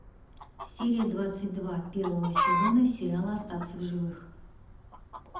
серия двадцать два первого сезона сериала остаться в живых